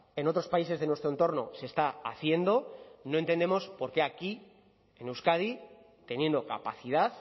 en otros países de nuestro entorno se está haciendo no entendemos por qué aquí en euskadi teniendo capacidad